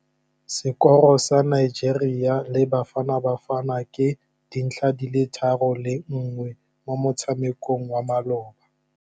Sekôrô sa Nigeria le Bafanabafana ke 3-1 mo motshamekong wa malôba.